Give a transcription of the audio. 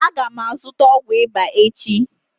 Aga m azụta ọgwụ ịba echi